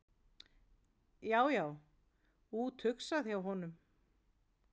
Já, já, úthugsað hjá honum!